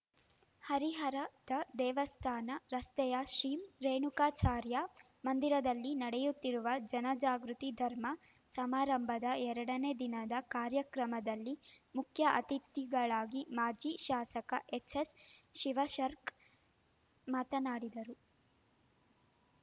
ಹರಿಹರದ ದೇವಸ್ಥಾನ ರಸ್ತೆಯ ಶ್ರೀ ರೇಣುಕಾಚಾರ್ಯ ಮಂದಿರದಲ್ಲಿ ನಡೆಯುತ್ತಿರುವ ಜನಜಾಗೃತಿ ಧರ್ಮ ಸಮಾರಂಭದ ಎರಡನೇ ದಿನದ ಕಾರ್ಯಕ್ರಮದಲ್ಲಿ ಮುಖ್ಯ ಅತಿಥಿಗಳಾಗಿ ಮಾಜಿ ಶಾಸಕ ಎಚ್‌ಎಸ್‌ ಶಿವಶರ್ಕ್ ಮಾತನಾಡಿದರು